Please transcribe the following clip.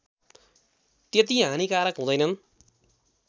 त्यति हानिकारक हुँदैनन्